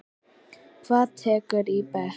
Hvað tekurðu í bekk?